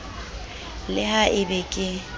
le ha e be ke